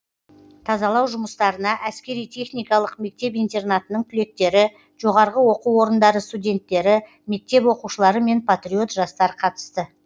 тазалау жұмыстарына әскери техникалық мектеп интернатының түлектері жоғары оқу орындары студенттері мектеп оқушылары мен патриот жастар қатысты